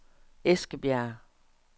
Eskebjerg